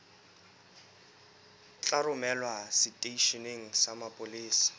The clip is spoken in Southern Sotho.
tla romelwa seteisheneng sa mapolesa